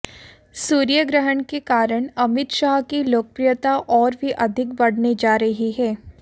सूर्य ग्रहण के कारण अमित शाह की लोकप्रियता और भी अधिक बढ़ने जा रही है